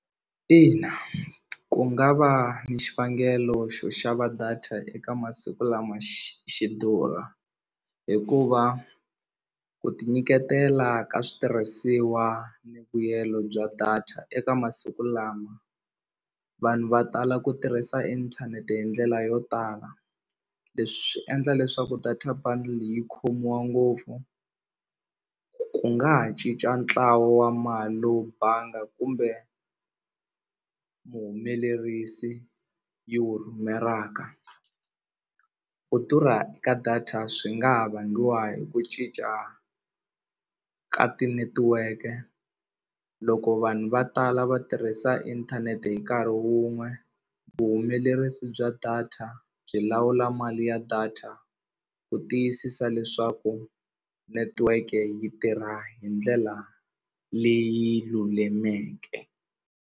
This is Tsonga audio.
Ina ku nga va ni xivangelo xo xava data eka masiku lama xi durha hikuva ku tinyiketela ka switirhisiwa ni vuyelo bya data eka masiku lama vanhu va tala ku tirhisa inthanete hi ndlela yo tala leswi swi endla leswaku data bundle yi khomiwa ngopfu ku nga ha cinca ntlawa wa mali lowu banga kumbe vuhumelerisi yi wu rhumelaka ku durha ka data swi nga ha vangiwa hi ku cinca ka tinetiweke loko vanhu va tala va tirhisa inthanete hi nkarhi wun'we vuhumelerisi bya data byi lawula mali ya data ku tiyisisa leswaku netiweke yi tirha hi ndlela leyi lulameke.